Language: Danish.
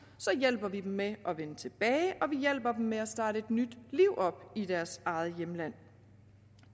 hjælper vi dem med at vende tilbage og vi hjælper dem med at starte et nyt liv op i deres eget hjemland